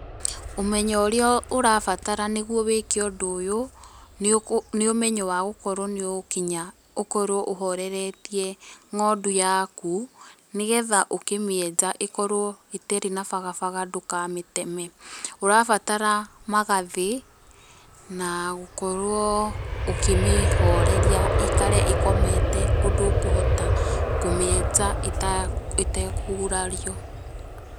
Ũmenyo ũrĩa ũrabatara nĩguo wĩke ũndũ ũyũ nĩ ũmenyo wa gũkorũo nĩ ũgũkinya ũkorũo ũhoreretie ng'ondu yaku nĩ getha ũkĩmĩenja ĩkorũo itarĩ a bagabaga ndũkamĩteme. Ũrabatara magathĩ na gũkorwo ũkĩmĩhoreria ĩikare ĩkomete ũndũ ũkũhota kũmĩenja ĩtekũgurario.